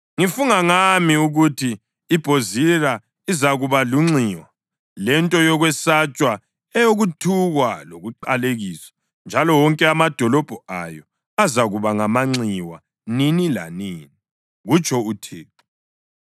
Ngifunga ngami, ukuthi iBhozira izakuba lunxiwa lento yokwesatshwa, eyokuthukwa lokuqalekiswa, njalo wonke amadolobho ayo azakuba ngamanxiwa nini lanini,” kutsho uThixo.